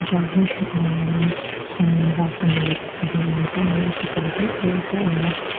bawr hi aaa sawm za sawm ruk pahnih man te a ni a khitiang khi tel te a ani a.